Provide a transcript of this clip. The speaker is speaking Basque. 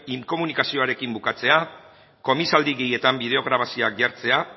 inkomunikazioarekin bukatzea komisaldegietan bideo grabazioak jartzea